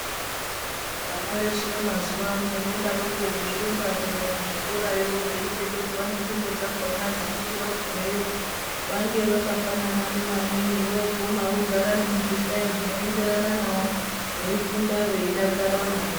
Vana veshe mazuwa ano vodaroko veirumba kuenda kuzvikorayo veipfekedzwa nengubo dzakhona dzekuti vagumeyo vange vakafanana nevamweni voguma vogara nemuzvihlayo zvinoenderana navo veifunda veidakara maningi.